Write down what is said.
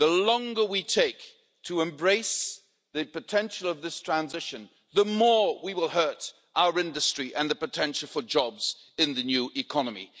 The longer we take to embrace the potential of this transition, the more we will hurt our industry and the potential for jobs in the new economy.